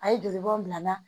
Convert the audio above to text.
A ye joli bɔn bila n na